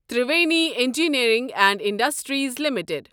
Triveni engineering and industries limited